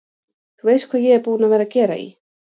Þú veist hvað ég er búinn að vera að gera í.